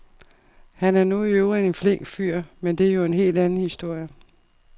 Han er nu i øvrigt en flink fyr, men det er jo en helt anden historie.